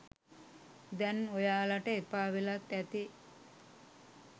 දැන් ඔයාලට එපා වෙලත් ඇති.